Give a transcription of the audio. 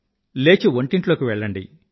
లేచి వంటింట్లోకి వెళ్ళండి